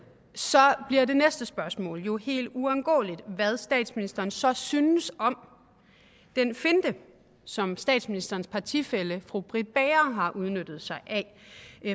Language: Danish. bliver det næste spørgsmål er jo helt uundgåeligt hvad statsministeren så synes om den finte som statsministerens partifælle fru britt bager har benyttet sig af